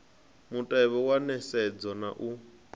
mutevhe wa nisedzo na u